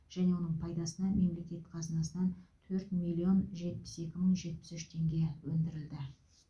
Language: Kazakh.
және оның пайдасына мемлекет қазынасынан төрт миллион жетпіс екі мың жетпіс екі теңге өндірілді